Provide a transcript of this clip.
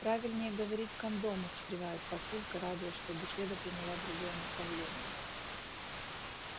правильнее говорить кондомы встревает папулька радуясь что беседа приняла другое направление